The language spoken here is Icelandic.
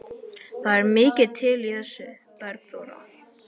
Það er mikið til í þessu, Bergþóra.